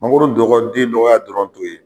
Mangoro dɔgɔ den dɔgɔya dɔrɔn t'o ye